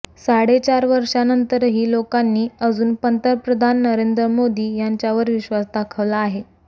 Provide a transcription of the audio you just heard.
चाडे चार वर्षानंतरही लोकांनी अजुन पंतप्रधान नरेंद्र मोदी यांच्यावर विश्वास दाखवला आहे